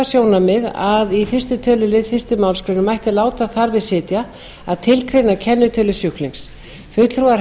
sjónarmið að í fyrsta tölulið fyrstu málsgrein mætti láta þar við sitja að tilgreina kennitölu sjúklings fulltrúar